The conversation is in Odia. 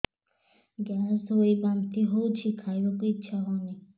ଗ୍ୟାସ ହୋଇ ବାନ୍ତି ହଉଛି ଖାଇବାକୁ ଇଚ୍ଛା ହଉନି